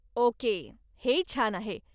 Okay, हे छान आहे.